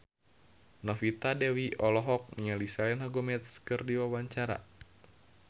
Novita Dewi olohok ningali Selena Gomez keur diwawancara